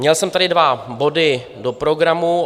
Měl jsem tady dva body do programu.